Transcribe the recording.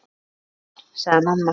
Bless elskan! sagði mamma.